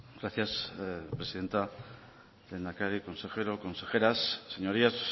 gracias presidenta lehendakari consejero consejeras señorías